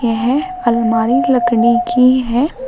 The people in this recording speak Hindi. यह अलमारी लकड़ी की है।